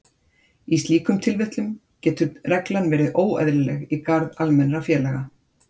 Í slíkum tilvikum getur reglan verið óeðlileg í garð almennra félaga.